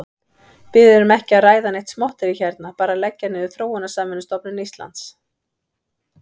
Við erum ekki að ræða neitt smotterí hérna, bara að leggja niður Þróunarsamvinnustofnun Íslands.